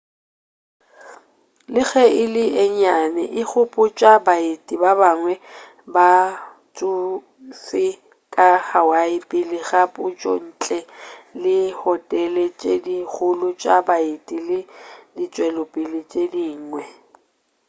le ge e le ye nnyane e gopotša baeti ba bangwe ba batšofe ka hawaii pele ga pušo ntle le dihotele tše di kgolo tša baeti le ditšwelopele tše dingwe